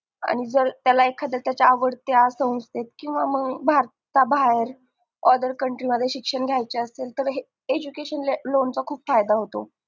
आणि जर त्याला त्याच्या आवडत्या संवस्थेत किंवा मंग भारता बाहेर other country मध्ये शिक्षण घ्यायचे असेल तर education loan चा खूप फायदा असतो